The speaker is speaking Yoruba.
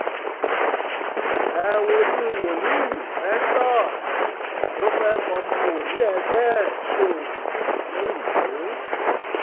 ẹ wojú wòlíì festus festus tó fẹ́ẹ̀ fọmọ wòlíì ẹgbẹ́ ẹ̀ sóògùn londo